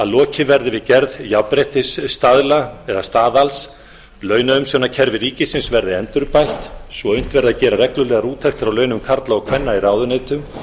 lokið verði við gerð jafnréttisstaðla eða staðals launaumsjónarkerfi ríkisins verði endurbætt svo unnt verði að gera reglulegar úttektir á launum karla og kvenna í ráðuneytum